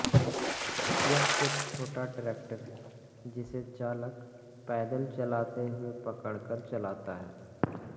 यह एक छोटा ट्रैक्टर है जिसे चालक पैदल चलते हुए पकड़ कर चलाता है